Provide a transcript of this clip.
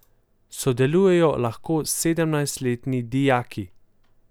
Sodelujejo lahko sedemnajstletni dijaki.